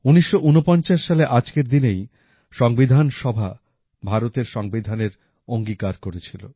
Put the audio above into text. ১৯৪৯ সালে আজকের দিনেই সংবিধান সভা ভারতের সংবিধানের অঙ্গীকার করেছিল